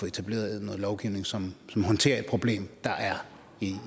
etableret noget lovgivning som som håndterer et problem der er i